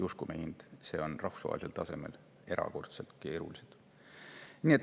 Uskuge mind, see on rahvusvahelisel tasemel erakordselt keerukas.